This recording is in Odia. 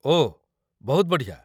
ଓଃ, ବହୁତ ବଢ଼ିଆ !